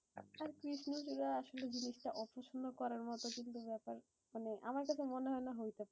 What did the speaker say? আর কৃষ্ণ চূড়া আসলে জিনিষটা অপছেন্দ করার মতো কিছু ব্যাপার মানে আমার কাছে মনে হহইতে পারে।